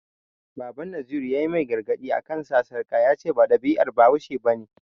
Baban Naziru ya yi mai gargaɗi a kan sa sarƙa, ya ce ba ɗabi'ar bahaushe ba ne.